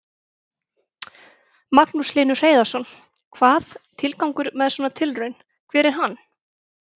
Magnús Hlynur Hreiðarsson: Hvað, tilgangur með svona tilraun, hver er hann?